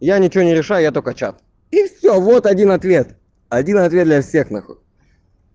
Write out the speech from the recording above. я ничего не решаю я только чат и все вот один ответ один ответ для всех нахуй